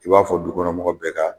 I b'a fɔ du kɔnɔ mɔgɔ bɛɛ ka